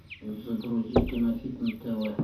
загрузи кинохит на тв